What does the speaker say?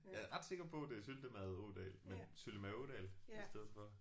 Jeg er ret sikker på det er Syltemade Ådal men Syltemade Ådal i stedet for